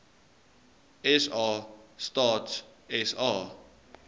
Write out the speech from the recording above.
sa stats sa